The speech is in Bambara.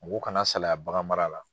Mɔgɔ kana saliya bagan mara la.